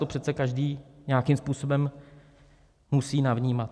To přece každý nějakým způsobem musí navnímat.